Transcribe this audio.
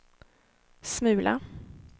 smula